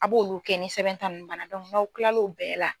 A b'olu kɛ ni sɛbɛn ta ninnu banna n'aw kilala o bɛɛ la